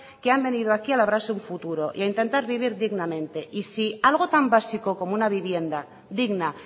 que han venido aquí a labrarse un futuro y a intentar vivir dignamente y si algo tan básico como una vivienda digna